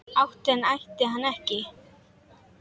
Ætti hann ætti hann ekki?